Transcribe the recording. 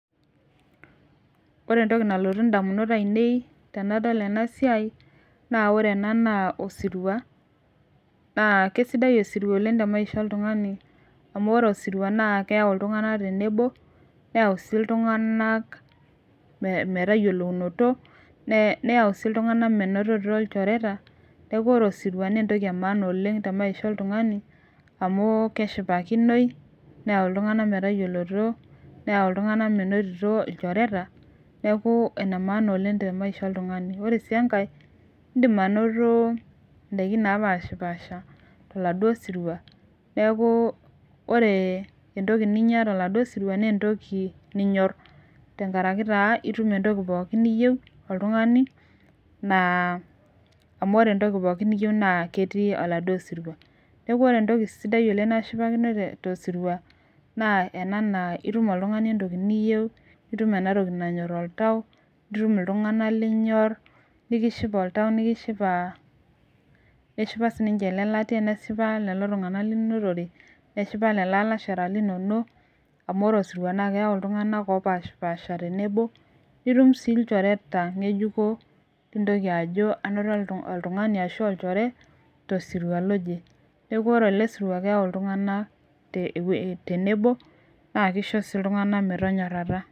Ore entoki nalotu damunot ainei, tenadol ena siai, naa ore ena naa osirua, naa kesidai osirua oleng te maisha oltungani. amu ore osirua naa keyau iltunganak tenebo. neyau sii iltunganak, metayiolounoto. neyau sii iltunganak menotito ilchoreta. neeku ore osirua naa entoki etipat oleng te maisha oltungani. amh keshipakinoi neyau iltunganak metayiolounoto. neyua iltunganak menotito ilchoreta. neeku ene maana oleng te maisha oltungani. ore sii enkae idim anoto, idaikin naapashipaasha taladuoo sirua neeku, ore entoki ninyia toladuoo sirua Nas entoki ninyor, tenkaraki taa itum entoki pookin niyieu oltungani. amu ore entoki pookin niyieu naa ketii oladuoo sirua. neeku ore entoki sidai aisulu nashipakino tosiria, Nas ena naa itum oltungani entoki niyieu. itum ena toki nanyor oltau itum iltunganak linyor. nikishipa oltau nikishipa. neshipa sii ninche Ile latia. neshipa sii ninche lelo tunganak. linotore. neshipa lelo alashera linonok, amu ore osirua nas keyau iltunganak oopashipaasha tenebo. nitum sii ilchoreta ngejuko. nintoki ajo anoto ilchoreta ashu olchore tosiria loje. neekh ore ele sirua keyau iltunganak tenabo. naa Kiko sii iltunganak metonyorataa.